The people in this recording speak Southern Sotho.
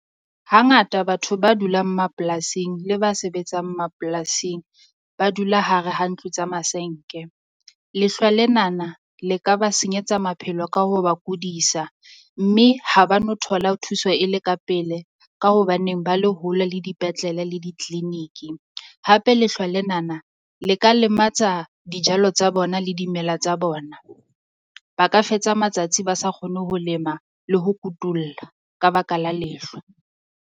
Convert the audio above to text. Hangata batho ba dulang mapolasing le ba sebetsang mapolasing ba dula hare ha ntlo tsa masenke. lehlwa lenana le ka ba senyetsa maphelo ka ho ba kodisa, mme ha ba no thola thuso e le ka pele. Ka hobaneng ba le hole le dipetlele le di-clinic. Hape lehlwa lenana le ka lematsa dijalo tsa bona le dimela tsa bona. Ba ka fetsa matsatsi ba sa kgone ho lema le ho kutulla ka baka la lehlwa.